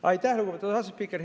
Aitäh, lugupeetud asespiiker!